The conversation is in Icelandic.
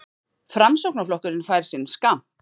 Framsóknarflokkurinn fær sinn skammt